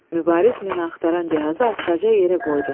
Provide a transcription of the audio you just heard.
Mübariz mina axtaran cihazı astaca yerə qoydu.